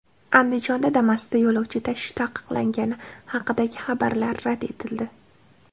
Andijonda Damas’da yo‘lovchi tashish taqiqlangani haqidagi xabarlar rad etildi.